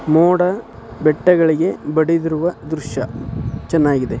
ಮೋಡ ಬೆಟ್ಟಗಳಿಗೆ ಬಡಿದಿರುವ ದೃಶ್ಯ ಚೆನ್ನಾಗಿದೆ.